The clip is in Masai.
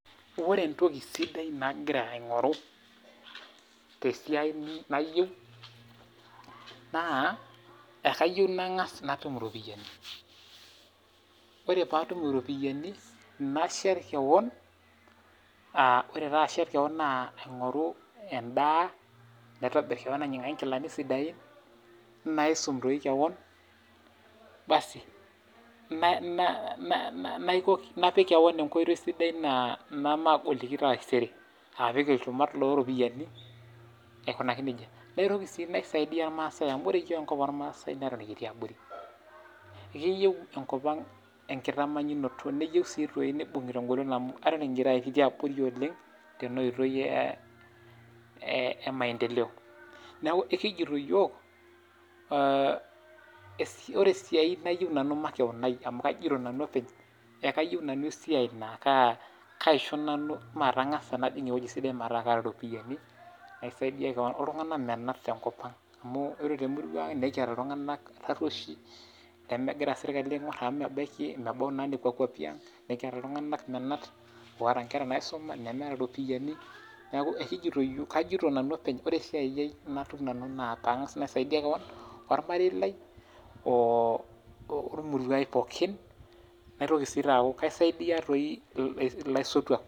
Ore entoki sidai nagira inkoru tesiai nayiu naa kayiu nangas natum iropiyiani ore pee atum iropiyiani nashet kewon, ore taa ashet kewon naa inkoiru endaa, naitobir kewon ai inyiangu ingilani sidain, naisum toi kewon basi napik kewon enkoitoi naa magoliki taisere apik ilchumat ll ropiyiani aikunaki najia. Naitoki sii nisaidia ilmaasai amu ore enkop oo maasai naa ikitii abori keyiu enkopang olkitamannyunoto nayiu sii toi nibungi tengolon amu aton kitii abori oleng' tena oitoi e maendeleo. Neeku ekijiti yiook ee ore esiai nayieu nanu makewon amu ai amu kayieu nanu esiai makewon naa kaisho nanu naangas apik ewoji sidai metaa kaata iropiyiani nisaidia kewon iltunganak tenkopang amu ore temurrua ang' nikiata iltunganak tarrushi nemegira sirkali aingoru nebaiki ingolia iltunganak menat oota inkere naisuma nemeeta iropiyiani. Neeku kajito nanu openy ore esiai nayieu natum nanu naa nisaidia kewon olmarei lai, oo oemurau ai pookinin naitoki taa sii aaku kaisaidia toi olaisotuak.